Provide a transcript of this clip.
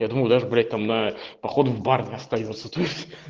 я думаю даже блять там на поход в бар не остаётся то есть